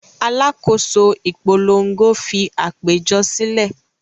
Alákòóso ìpolongo fi àpéjọ sílẹ̀.